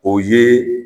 O ye